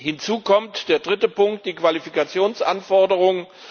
Hinzu kommt der dritte Punkt die Qualifikationsanforderungen.